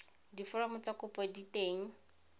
diforomo tsa kopo di teng